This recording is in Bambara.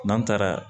N'an taara